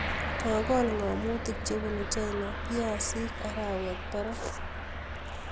Kokol ng'amotik chebunuu china piasik arawet parak